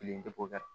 Kelen